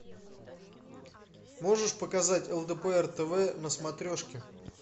можешь показать лдпр тв на смотрешке